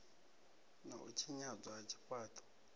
na u tshinyadzwa ha zwifhaṱo